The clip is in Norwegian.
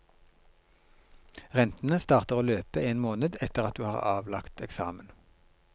Rentene starter å løpe en måned etter at du har avlagt eksamen.